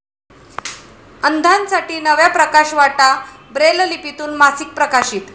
अंधांसाठी नव्या 'प्रकाशवाटा', ब्रेललिपीतून मासिक प्रकाशित